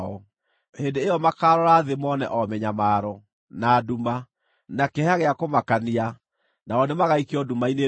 Hĩndĩ ĩyo makaarora thĩ mone o mĩnyamaro, na nduma, na kĩeha gĩa kũmakania, nao nĩmagaikio nduma-inĩ ndumanu.